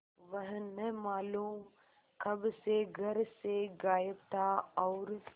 वह न मालूम कब से घर से गायब था और